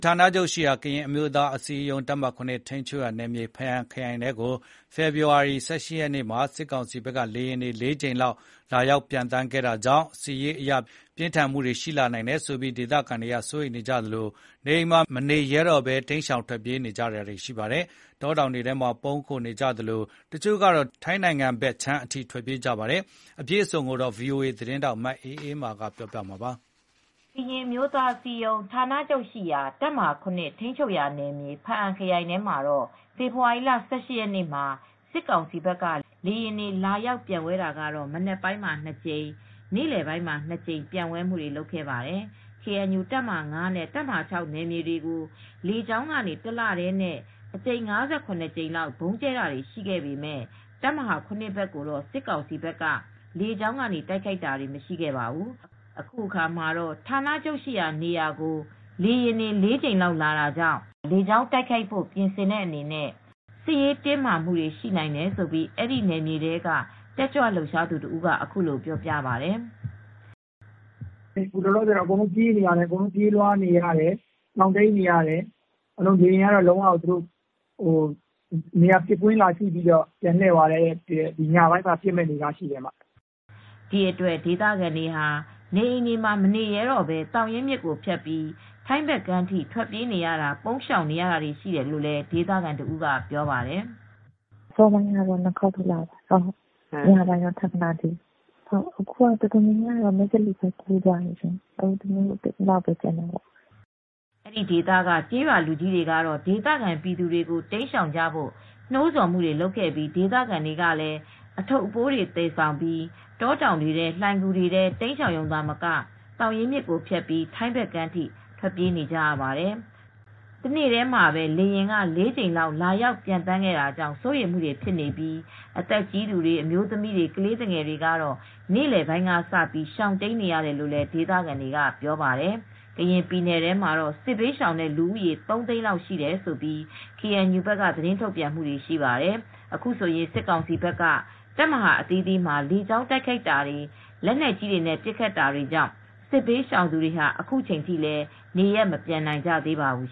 ဌာနချုပ်ရှိရာ ကရင်အမျိုးသားအစည်းအရုံး တပ်မဟာ(၇) ထိန်းချုပ်ရာနယ်မြေ ဖားအံခရိုင်ထဲကို ဖေဖေါ်ဝါရီ ၁၈ ရက်နေ့မှာ စစ်ကောင်စီဘက်က လေယာဉ်တွေ ၄ ကြိမ်လောက်လာရောက်ခဲ့တာကြောင့် စစ်ရေးအရ ပြင်းထန်နိုင်တယ်ဆိုပြီး ဒေသခံတွေစိုးရိမ်နေကြသလို နေအိမ်တွေမှာမနေရဲဘဲ တိမ်းရှောင်နေကြပါတယ်။ တောတောင်တွေထဲပုန်းအောင်းနေကြသလို တချို့ကတော့ ထိုင်းဘက်ခြမ်းထိ ထွက်ပြေးနေကြတာပါ။ အပြည့်အစုံကို ဗွီအိုအေသတင်းထောက် မအေးအေးမာက သတင်းပေးပို့ထားပါတယ်။ ကရင်အမျိုးသားအစည်းအရုံးဌာနချုပ်ရှိရာ တပ်မဟာ (၇) ထိန်းချုပ်ရာနယ်မြေ၊ ဖားအံခရိုင်ထဲမှာ ဖေဖေါ်ဝါရီလ ၁၈ ရက်နေ့မှာ စစ်ကောင်စီဘက်က လေယာဉ်တွေဟာ မနက်ပိုင်းမှာ ၂ ကြိမ်၊ နေ့လယ်ပိုင်းမှာ ၂ ကြိမ် ပျံဝဲခဲ့ပါတယ်။ ကေအန်ယူ တပ်မဟာ (၅) နဲ့ တပ်မဟာ (၆) နယ်မြေတွေကို လေကြောင်းကနေ တလတည်း ၅၇ ကြိမ်လောက် ဗုံးကြဲတာတွေရှိပေမယ့် တပ်မဟာ (၇) ဘက်ကိုတော့ စစ်ကောင်စီဘက်က လေကြောင်းကနေ တိုက်ခိုက်တာမရှိခဲ့ပါဘူး။ အခုအခါမှာ ဌာနချုပ်ရှိရာနေရာကို လေယာဉ်တွေ ၄ ကြိမ်လောက်လာတာကြောင့် လေကြောင်းတိုက်ခိုက်ဖို့ပြင်ဆင်တဲ့အနေနဲ့ စစ်ရေးတင်းမာမှုတွေရှိနိုင်တယ်လို့အဲဒီနယ်မြေထဲက တက်ကြွလှုပ်ရှားသူတဦးက အခုလိုပြောပြပါတယ်။ “အခုလောလောဆယ်တော့ ရှောင်တိမ်းရတယ်။ ပြေးလွှားနေရတယ်။ အခု လေယာဉ်ကတော့ ပစ်ကွင်းကိုကြည့်ပြီး ပြန်လှည့်သွားတယ်။ အခုတော့ အားလုံးကရှောင်တိမ်းနေရတယ်။ ညပိုင်းမှာ လာရောက်ပစ်ခတ်မဲ့အနေအထားရှိတယ်။ အန္တရာယ်ရှိတဲ့အနေအထားကြောင့်လေ။” ဒီအတွက် ဒေသခံတွေဟာ နေအိမ်တွေမှာမနေရဲတော့ဘဲ သောင်ရင်းမြစ်ကိုဖြတ်ပြီး ထိုင်းဘက်ကမ်းထိ ထွက်ပြေးပုန်းရှောင်နေရတယ်လို့ဒေသခံတဦးက ပြောပြပါတယ်။ “အစောပိုင်းက လေယာဉ် ၂ ခေါက်လာတယ်။ ညပိုင်းတော့ ထပ်မလာသေးဘူး။ အခုက အတော်များများက မယ့်သလေဘက်ကူးသွားတယ်။ ဒီဘက်မှာလူနည်းနည်းပဲကျန်တော့တယ်။” အဲဒီဒေသက ကျေးရွာလူကြီးတွေကတော့ဒေသခံပြည်သူတွေကို တိမ်းရှောင်ကြဖို့ နှိုးဆော်ခဲ့ပြီး ဒေသခံတွေလည်း အထုတ်တွေသယ်ပိုးပြီး တောတောင်တွေထဲ လှိုင်ဂူတွေထဲတိမ်းရှောင်ရုံသာမက သောင်ရင်းမြစ်ကိုဖြတ်ပြီး ထိုင်းဘက်ခြမ်းအထိပါ ထွက်ပြေးနေကြပါတယ်။ တနေ့တည်းလေယာဉ် ၄ကြိမ်လာရောက်ပံျသန်းတာကြောင့် စိုးရိမ်လာကြတာ ဖြစ်ပြီး အသက်အရွယ်ကြီးတွေ၊ အမျိုးသမီးတွေ ကလေးတွေကတော့ နေလည်ကစပြီးရှောင်တိမ်းနေကြရတယ်လို့ ဒေသခံတွေကပြောပါတယ်။ ကရင်ပြည်နယ်ထဲမှာတော့ စစ်ဘေးရှောင်လူဦးရေ ၃ သိန်းလောက်ရှိတယ်လို့ KNU က သတင်းထုတ်ပြန်ပါတယ်။ အခုဆိုရင် စစ်ကောင်စီဘက်က KNU ရဲ့ တပ်မဟာအသီးသီးမှာ လေကြောင်းတိုက်ခိုက်တာ၊ လက်နက်ကြီးတွေနဲ့ ပစ်ခတ်တာတွေရှိနေတာကြောင့် စစ်ဘေးရှောင်သူတွေဟာ အခုချိန်ထိလည်း နေရပ်မပြန်နိုင်ကြသေးပါဘူး